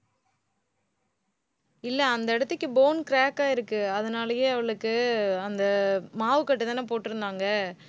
இல்லை, அந்த இடத்துக்கு bone crack ஆயிருக்கு. அதனாலேயே அவளுக்கு அந்த மாவுக்கட்டுதானே போட்டிருந்தாங்க.